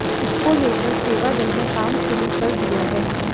इसको लेकर सेवादल ने काम शुरू कर दिया है